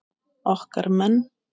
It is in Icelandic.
Okkar menn